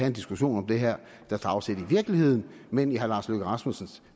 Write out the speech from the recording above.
en diskussion om det her der tager afsæt i virkeligheden men i herre lars løkke rasmussens